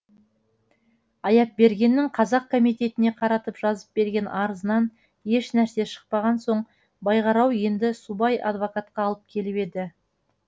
аяпбергеннің қазақ комитетіне қаратып жазып берген арызынан еш нәрсе шықпаған соң байғарау енді субай адвокатқа алып келіп еді